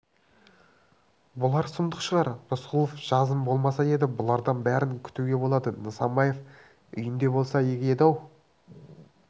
бұлар сұмдық шығар рысқұлов жазым болмаса еді бұлардан бәрін күтуге болады нысанбаев үйінде болса игі еді-ау